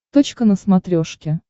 точка на смотрешке